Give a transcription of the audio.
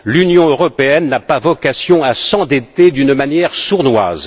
L'Union européenne n'a pas vocation à s'endetter d'une manière sournoise.